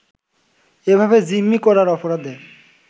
এভাবে জিম্মি করার অপরাধে